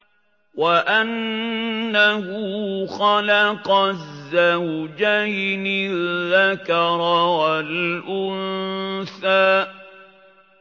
وَأَنَّهُ خَلَقَ الزَّوْجَيْنِ الذَّكَرَ وَالْأُنثَىٰ